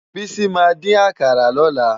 Bisi má din àkárá lòlá